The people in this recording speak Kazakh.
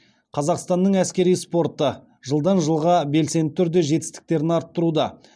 қазақстанның әскери спорты жылдан жылға белсенді түрде жетістіктерін арттыруда